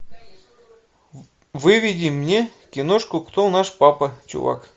выведи мне киношку кто наш папа чувак